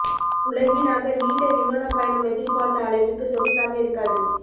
உலகின் ஆக நீண்ட விமானப் பயணம் எதிர்பார்த்த அளவிற்கு சொகுசாக இருக்காது